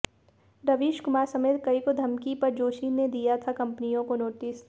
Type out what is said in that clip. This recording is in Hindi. रवीश कुमार समेत कई को धमकी पर जोशी ने दिया था कंपनियों को नोटिस